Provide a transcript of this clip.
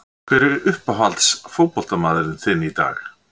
Hver er uppáhalds fótboltamaðurinn þinn í dag?